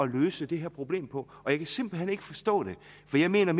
løse det her problem på og jeg kan simpelt hen ikke forstå det for jeg mener